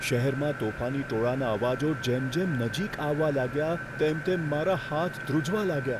શહેરમાં તોફાની ટોળાના અવાજો જેમ જેમ નજીક આવવા લાગ્યા, તેમ તેમ મારા હાથ ધ્રૂજવા લાગ્યા.